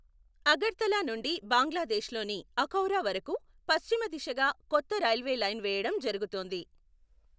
అగర్తలా నుండి బంగ్లాదేశ్లోని అఖౌరా వరకు పశ్చిమ దిశగా కొత్త రైల్వే లైను వేయడం జరుగుతోంది.